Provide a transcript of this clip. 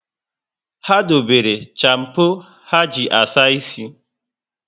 Ha dobere champo ha ji asa ísì